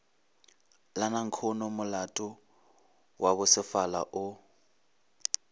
la nankhonomolato wa bosefala o